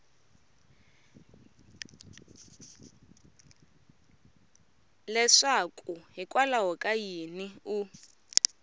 leswaku hikwalaho ka yini u